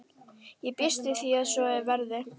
Ég býst við að svo verði.